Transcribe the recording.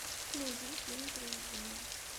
найди фильм привидение